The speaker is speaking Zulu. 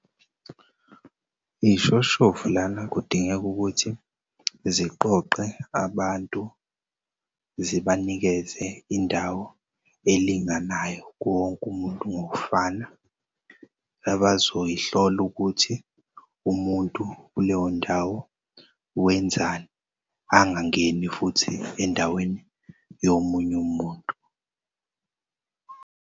Iy'shoshovu lana kudingeka ukuthi ziqoqe abantu, zibanikeze indawo elinganayo kuwonk'umuntu ngokufana. Abazoyihlol'ukuthi umuntu kuleyo ndawo wenzani angangeni futhi endaweni yomuny'umuntu.